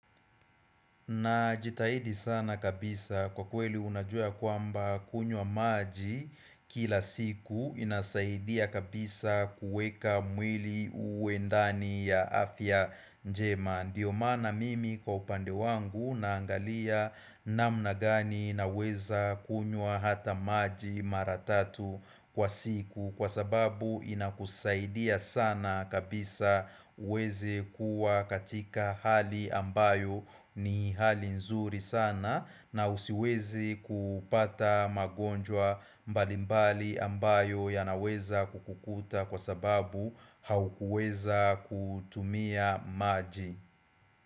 Najitahidi sana kabisa kwa kweli unajua kwamba kunywa maji kila siku inasaidia kabisa kuweka mwili uwe ndani ya afya njema. Ndiyo maana mimi kwa upande wangu naangalia namna gani na weza kunywa hata maji mara tatu kwa siku kwa sababu inakusaidia sana kabisa uweze kuwa katika hali ambayo ni hali nzuri sana na usiweze kupata magonjwa mbalimbali ambayo yanaweza kukuta kwa sababu haukuweza kutumia maji.